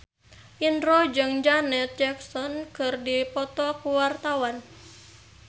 Indro jeung Janet Jackson keur dipoto ku wartawan